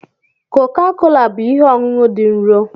Coca-Cola bụ ihe ọṅụṅụ dị nro.